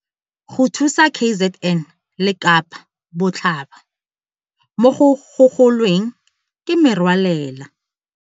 Go thusa KZN le Kapa Botlhaba mo go gogo lweng ke Merwalela.